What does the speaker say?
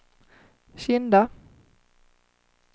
Kinda